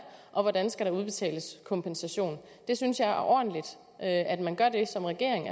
og hvordan der skal udbetales kompensation det synes jeg er ordentligt at man gør som regering